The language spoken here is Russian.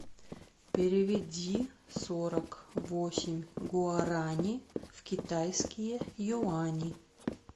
переведи сорок восемь гуарани в китайские юани